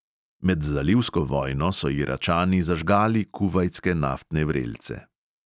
Med zalivsko vojno so iračani zažgali kuvajtske naftne vrelce.